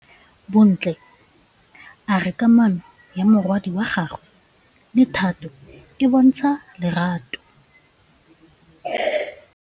Bontle a re kamanô ya morwadi wa gagwe le Thato e bontsha lerato.